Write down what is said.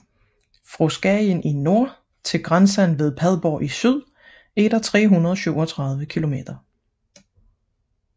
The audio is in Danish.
Fra Skagen i nord til grænsen ved Padborg i syd er der 337 kilometer